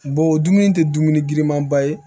o dumuni tɛ dumuni girinmanba ye